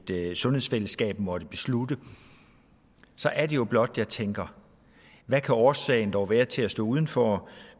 sundhedsfællesskab måtte beslutte så er det jo blot jeg tænker hvad kan årsagen dog være til at stå udenfor